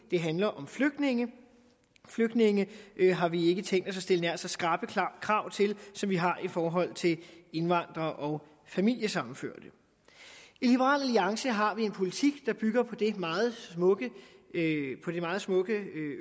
det handler om flygtninge flygtninge har vi ikke tænkt os at stille nær så skrappe krav til som vi har i forhold til indvandrere og familiesammenførte i liberal alliance har vi en politik der bygger på et meget smukt